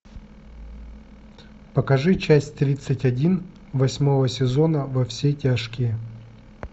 покажи часть тридцать один восьмого сезона во все тяжкие